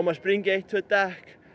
sprengi eitt tvö dekk